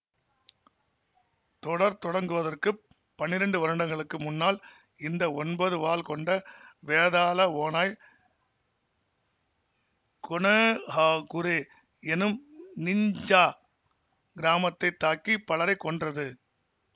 தொடர் தொடங்குவதற்குப் பனிரெண்டு வருடங்களுக்கு முன்னால் இந்த ஒன்பது வால் கொண்ட வேதாள ஓநாய் கொனொஹாகுரே என்னும் நிஞ்ஜா கிராமத்தைத் தாக்கி பலரைக் கொன்றது